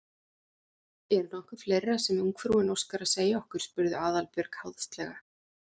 Er nokkuð fleira sem ungfrúin óskar að segja okkur? spurði Aðalbjörg háðslega.